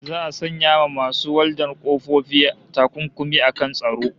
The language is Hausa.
Za'a sanya wa masu waldar ƙofofi takunkumi akan tsaro